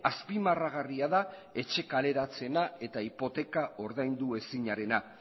azpimarragarria da etxe kaleratzeena eta hipoteka ordaindu ezinarena